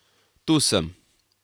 Tu sem.